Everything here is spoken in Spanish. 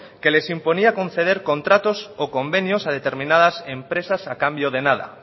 que les imponía a conceder contratos o convenios a determinadas empresas a cambio de nada